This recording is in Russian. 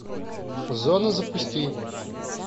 зона запусти